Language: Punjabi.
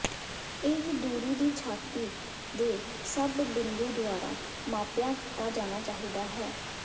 ਇਹ ਦੂਰੀ ਦੀ ਛਾਤੀ ਦੇ ਸਭ ਬਿੰਦੂ ਦੁਆਰਾ ਮਾਪਿਆ ਕੀਤਾ ਜਾਣਾ ਚਾਹੀਦਾ ਹੈ